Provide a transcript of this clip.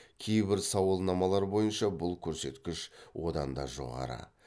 кейбір сауалнамалар бойынша бұл көрсеткіш одан да жоғары